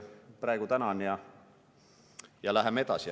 Praegu tänan ja läheme edasi.